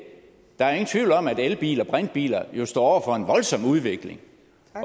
der er jo ingen tvivl om at elbiler og brintbiler står over for en voldsom udvikling